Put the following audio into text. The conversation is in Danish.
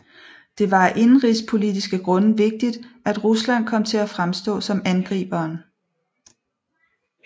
Det var af indenrigspolitiske grunde vigtigt at Rusland kom til at fremstå som angriberen